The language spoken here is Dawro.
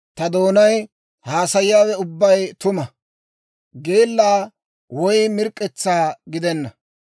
Ta doonay haasayiyaawe ubbay tuma; geella woy mirk'k'etsaa gidenna.